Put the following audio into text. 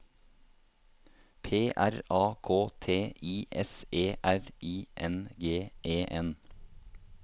P R A K T I S E R I N G E N